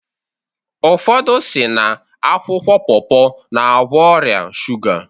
Ụfọdụ si n'akwụkwọ popo na-egwo ọrịa shuga